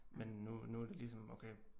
Men nu nu det ligesom okay